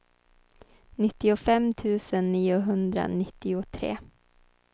nittiofem tusen niohundranittiotre